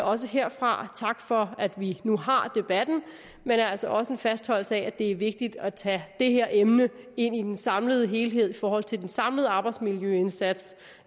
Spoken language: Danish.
også herfra tak for at vi nu har debatten men altså også en fastholdelse af at det er vigtigt at tage det her emne ind i den samlede helhed i forhold til den samlede arbejdsmiljøindsats